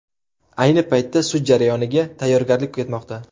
Ayni paytda sud jarayoniga tayyorgarlik ketmoqda.